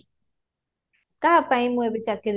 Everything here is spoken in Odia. କାହା ପାଇଁ ମୁ ଚାକିରୀ